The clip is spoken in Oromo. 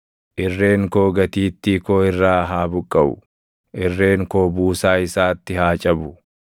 irreen koo gatiittii koo irraa haa buqqaʼu; irreen koo buusaa isaatti haa cabu.